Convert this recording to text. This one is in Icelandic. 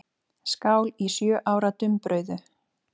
Skál í sjö ára dumbrauðu.